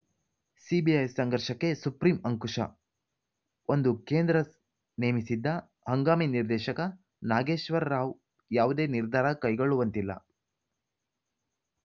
CBI ಸಂಘರ್ಷಕ್ಕೆ supreme ಅಂಕುಶ ಒಂದು ಕೇಂದ್ರ ನೇಮಿಸಿದ್ದ ಹಂಗಾಮಿ ನಿರ್ದೇಶಕ ನಾಗೇಶ್ವರ ರಾವ್‌ ಯಾವುದೇ ನಿರ್ಧಾರ ಕೈಗೊಳ್ಳುವಂತಿಲ್ಲ